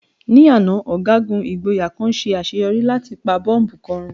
Ní àná, ọ̀gágun ìgboyà kan ṣe àṣeyọrí láti pa bọ́bù kan run.